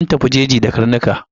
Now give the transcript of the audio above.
Mun tafi jeji da karnuka.